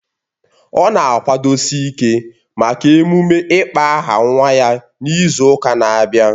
Ọ na-akwadosi ịke maka emume ịkpọ aha nwa ya n'izu ụka na-abịa